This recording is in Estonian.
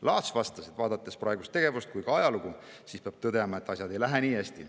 Laats vastas, et vaadates praegust tegevust ja ka ajalugu, peab tõdema, et asjad ei lähe nii hästi.